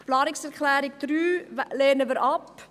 Die Planungserklärung 3 lehnen wir ab.